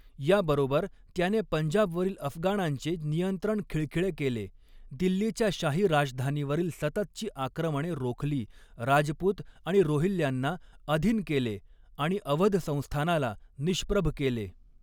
या बरोबर त्याने पंजाबवरील अफगाणांचे नियंत्रण खिळखिळे केले, दिल्लीच्या शाही राजधानीवरील सततची आक्रमणे रोखली, राजपुत आणि रोहिल्ल्यांना अधीन केले आणि अवध संस्थानाला निष्प्रभ केले.